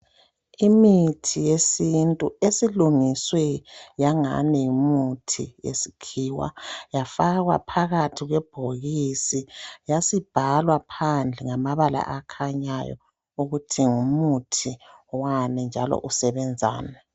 Imithi yesintu esilungiswe yangani ngumuthi wesikhiwa yafakwa phakathi kwebhokisi yasibhalwa phandle ngamabala akhanyayo ukuthi ngumuthi wani njalo usebenzani.